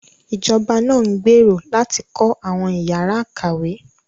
Ìjọba náà ń gbèrò láti kọ́ àwọn ìyára ìkàwé